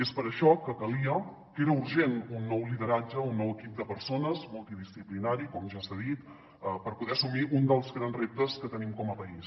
és per això que calia que era urgent un nou lideratge un nou equip de persones multidisciplinari com ja s’ha dit per poder assumir un dels grans reptes que tenim com a país